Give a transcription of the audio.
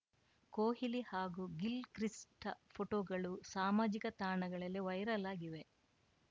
ಕೊಹ್ಲಿ ಹಾಗೂ ಗಿಲ್‌ಕ್ರಿಸ್ಟ್‌ ಫೋಟೋಗಳು ಸಾಮಾಜಿಕ ತಾಣಗಳಲ್ಲಿ ವೈರಲ್‌ ಆಗಿವೆ